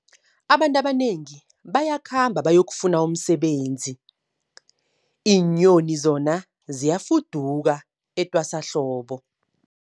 Abantu abanengi bayakhamba bayokufuna umsebenzi, iinyoni zona ziyafuduka etwasahlobo.